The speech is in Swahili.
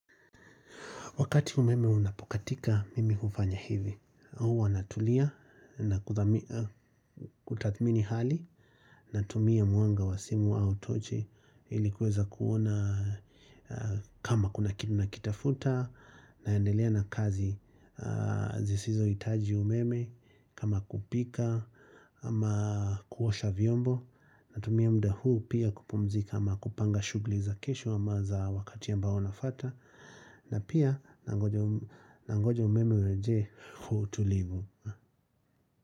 Wakati umeme unapokatika, mimi hufanya hivi. Huwa natulia na kutathmini hali natumia mwanga wa simu au tochi ili kuweza kuona kama kuna kitu nakitafuta naendelea na kazi zisizohitaji umeme kama kupika ama kuosha vyombo. Natumia muda huu pia kupumzika ama kupanga shughuli za kesho ama za wakati ambao unafuata. Na pia nangoja umeme urejee kwa utulivu.